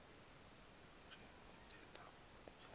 nje nitheth ukuthi